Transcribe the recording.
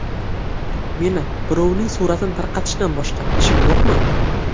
Meni birovning suratini tarqatishdan boshqa ishim yo‘qmi?